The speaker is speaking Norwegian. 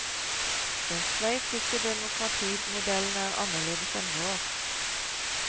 Den sveitsiske demokratimodellen er annerledes enn vår.